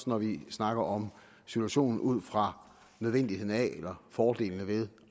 når vi snakker om situationen ud fra nødvendigheden af eller fordelene ved